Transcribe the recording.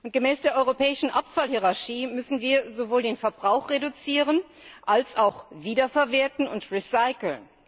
Gemäß der europäischen Abfallhierarchie müssen wir sowohl den Verbrauch reduzieren als auch wiederverwerten und recyceln.